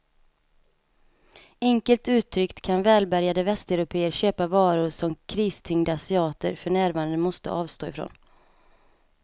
Enkelt uttryckt kan välbärgade västeuropéer köpa varor som kristyngda asiater för närvarande måste avstå ifrån.